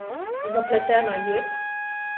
Zapletena jed?